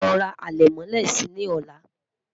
ló rà alè mọlé sí ní ola